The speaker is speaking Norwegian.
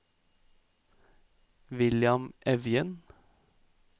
William Evjen